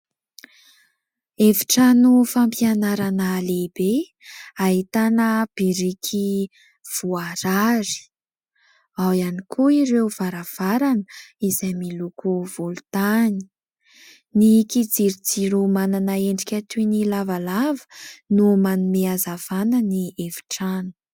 Efitrano fampianarana lehibe ahitana biriky voarary, ao ihany koa ireo varavarana izay miloko volontany, ny kijirojiro manana endrika toy ny lavalava no manome hazavana ny efitrano.